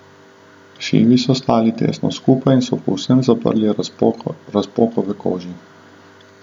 Šivi so stali tesno skupaj in so povsem zaprli razpoko v koži.